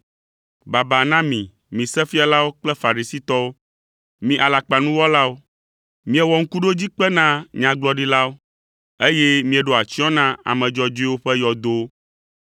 “Baba na mi, mi Sefialawo kple Farisitɔwo, mi alakpanuwɔlawo! Miewɔ ŋkuɖodzikpe na nyagblɔɖilawo, eye mieɖo atsyɔ̃ na ame dzɔdzɔewo ƒe yɔdowo,